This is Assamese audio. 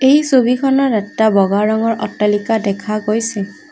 এই ছবিখনত এটা বগা ৰঙৰ অট্টালিকা দেখা গৈছে।